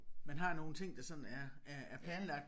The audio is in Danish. Man har nogle ting der sådan er er er planlagt